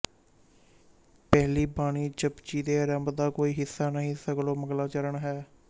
ਪਹਿਲੀ ਬਾਣੀ ਜਪੁਜੀ ਦੇ ਆਰੰਭ ਦਾ ਕੋਈ ਹਿੱਸਾ ਨਹੀਂ ਸਗੋਂ ਮੰਗਲਾਚਰਨ ਹੈ